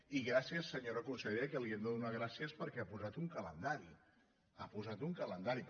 i gràcies senyora consellera que li hem de donar gràcies perquè ha posat un calendari ha posat un calendari